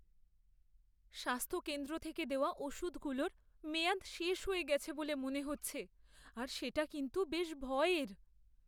স্বাস্থ্য কেন্দ্র থেকে দেওয়া ওষুধগুলোর মেয়াদ শেষ হয়ে গেছে বলে মনে হচ্ছে আর সেটা কিন্তু বেশ ভয়ের।